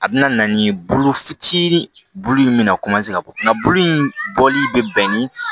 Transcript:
A bɛna na ni bolo fitini bulu in mina ka bɔ kuma in bɔli bɛ bɛn ni